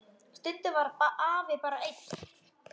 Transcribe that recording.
Stundum var afi bara einn.